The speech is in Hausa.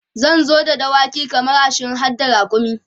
zan zo da dawaki kaman ashirin harda rakumi